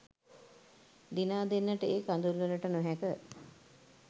දිනා දෙන්නට ඒ කඳුළුවලට නොහැක